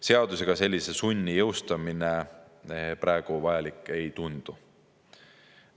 Seadusega sellise sunni jõustamine praegu vajalik ei tundu.